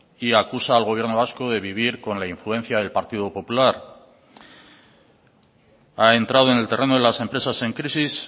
y acusa al gobierno vasco de vivir con la influencia del partido popular ha entrado en el terreno de las empresas en crisis